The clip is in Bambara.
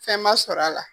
Fɛn ma sɔrɔ a la